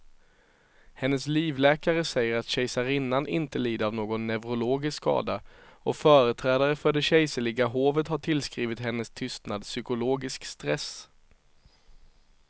Hennes livläkare säger att kejsarinnan inte lider av någon neurologisk skada och företrädare för det kejserliga hovet har tillskrivit hennes tystnad psykologisk stress.